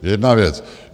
Jedna věc.